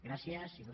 gràcies il